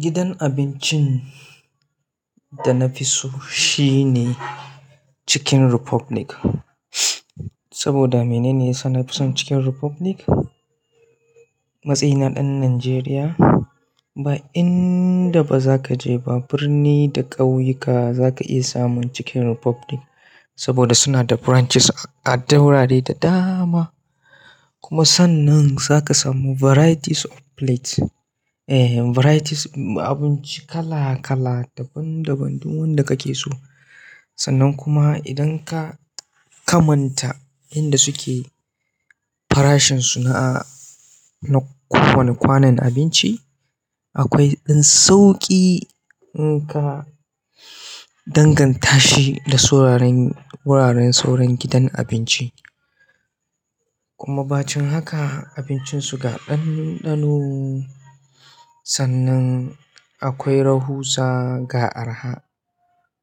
Gidan abincin da nafiso shine Chicken Republic. Saboda menene yasa nafison Chicken Republic? Matsayi na ɗan Najeriya. Ba inda bazaka je ba, birni da ƙauyuka zaka iya samun Chicken Republic saboda suna da branches a duk wurare da dama. Kuma sannan zaka samu varieties of plates. Eh varieties abinci kala kala, daban daban, duk wanda kake so. Sannan kuma idan ka kamanta inda su ke farashin su na na kowane kwanon abinci, akwai ɗan sauƙi in ka danganta shi da wuraren sauran gidan abinci. Kuma bancin haka abincin su ga ɗanɗano. Sannan akwai rahusa ga arha.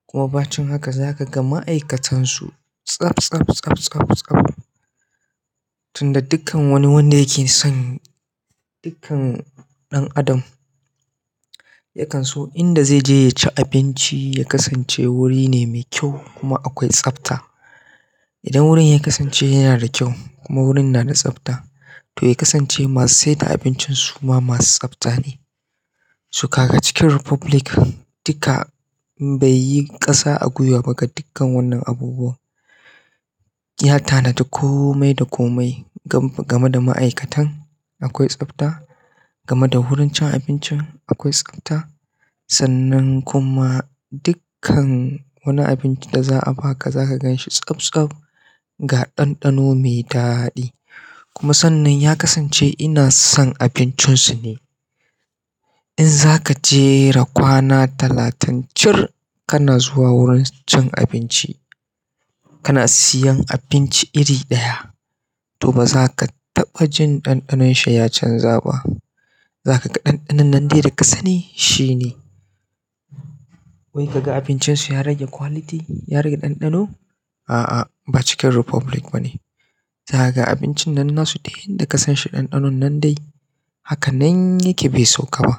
Kuma bancin haka zakaga ma'aikatan su tsab tsab tsab tsab tsab. Tunda dukkan wani wanda yake son dukkan ɗan adam ya kan so inda zai je yaci abinci ya kasance wuri ne mai kyau kuma akwai tsafta. Idan wurin ya kasance yana da kyau kuma wurin na da tsafta to ya kasance masu sai da abincin suma masu tsafta ne. So kaga chicken republic dukka baiyi kasa a gwiwa ba ga dukkan wannan abubuwan ya tanadi komai da komai. Game da ma'aikatan akwai tsafta, game da wurin cin abincin akwai tsafta. Sannan kuma dukka wani abunda za a baka zaka ganshi tsaf tsaf ga ɗanɗano mai daɗi kuma sannan ya kasance ina son abincin su ne. In zaka jera kwana talatin cir kana zuwa wurin su cin abinci, kana siyan abinci iri ɗaya to bazaka taɓa jin ɗanɗanon shi ya canza ba. Za ka ga ɗanɗanon nan dai da ka sani shi ne. Wai kaga abincin su ya rage quality? Ya rage ɗanɗano? A'a ba Chicken Republic bane. Zakaga abincin nasu yanda kasan shi dandanonnan dai haka nan yake bai sauka ba.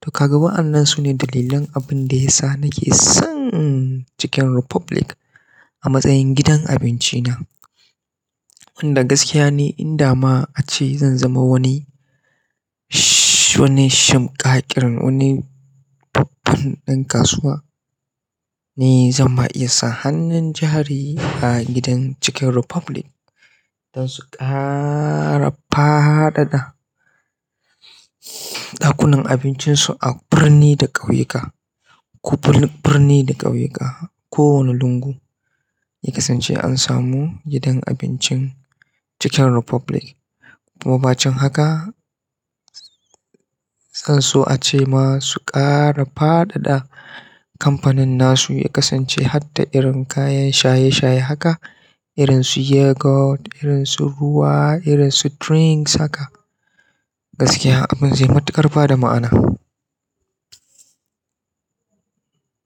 To kaga wa'annan sune dalilan abinda yasa nake son Chicken Republic a matsayin gidan abinci na. Inda gaskiya ni inda ma ace zan zama wani shimƙaƙƙiran wani babban ɗan kasuwa ni zan ma iya sa hannun jari a gidan Chicken Republic don su ƙara fadada ɗakunan abincin su a birni da ƙauyuka. Birni da ƙauyuka. Ko wane lungu ya kasance ansamu gidan abinci Chicken Republic kuma bancin haka, zan so ace ma su ƙara fadada kamfanin nasu ya kasance har da irin kayan shaye-shaye haka irin su yogurt, irin su ruwa, irin su drinks haka. Gaskiya abin zai matuƙar ba da ma'ana.